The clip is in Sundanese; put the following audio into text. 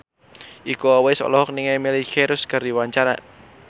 Iko Uwais olohok ningali Miley Cyrus keur diwawancara